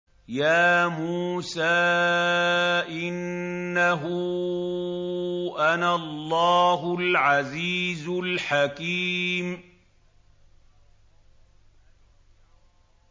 يَا مُوسَىٰ إِنَّهُ أَنَا اللَّهُ الْعَزِيزُ الْحَكِيمُ